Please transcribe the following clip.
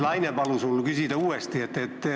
Laine palus mul uuesti küsida.